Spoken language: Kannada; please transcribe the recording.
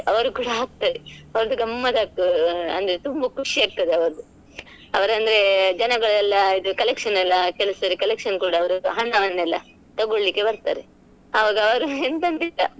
ಅವ್ರ್ ಕೂಡ ಹಾಕ್ತಾರೆ ಅವರ್ದು ಗಮ್ಮತ್ ಆಗ್ತದೆ ಅಂದ್ರೆ ತುಂಬಾ ಖುಷಿ ಆಗ್ತದೆ ಅವ್ರ್ ಅಂದ್ರೆ ಜನಗಳೆಲ್ಲ ಇದು collection ಎಲ್ಲ ಕೆಲವ್ಸಲ collection ಕೂಡ ಅವ್ರು ಹಣ ಹಣ ಎಲ್ಲ ತಗೋಳಿಕ್ಕೆ ಬರ್ತಾರೆ ಆವಾಗ ಅವ್ರು ಎಂತ ಅಂತ ಇಲ್ಲ .